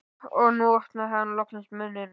Og nú opnaði hann loksins munninn.